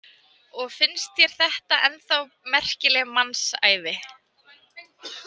Og finnst þér þetta ennþá merkileg mannsævi?